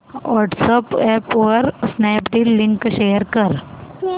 WhatsApp वर Snapdeal link share कर